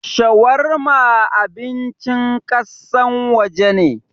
Shawarma abincin kassan waje ne.